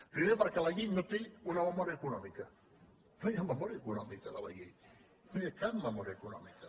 primer perquè la llei no té una memòria econòmica no hi ha memòria econòmica de la llei no hi ha cap memòria econòmica